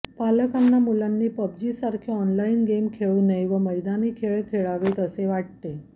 पालकांना मुलांनी पबजीसारखे ऑनलाईन गेम खेळू नये व मैदानी खेळ खेळावेत असे वाटते